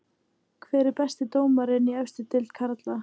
Hver er besti dómarinn í efstu deild karla?